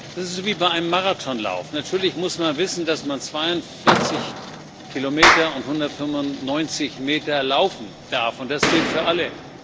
Das ist wie bei einem Marathonlauf Natürlich muss man wissen, dass man 42 Kilometer und 195 Meter laufen darf, und das gilt für alle.